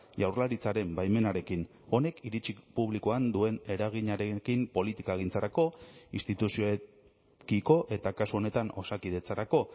jaurlaritzaren baimenarekin honek iritzi publikoan duen eraginarekin politikagintzarako instituzioekiko eta kasu honetan osakidetzarako